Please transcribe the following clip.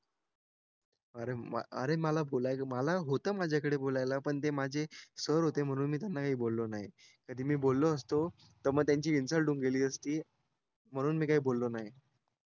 अरे अरे मला बोलायचं मला होतं माझ्याकडे बोलायला पण ते माझे सर होते म्हणून मी त्यांना काही बोललो नाही कधी मी बोललो असतो त म त्यांची इंसल्ट होऊन गेली असती म्हणून मी काही बोललो नाही